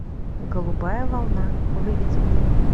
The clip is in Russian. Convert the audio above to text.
голубая волна выведи мне